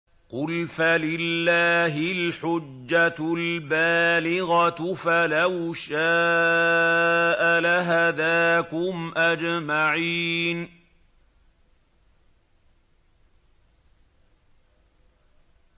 قُلْ فَلِلَّهِ الْحُجَّةُ الْبَالِغَةُ ۖ فَلَوْ شَاءَ لَهَدَاكُمْ أَجْمَعِينَ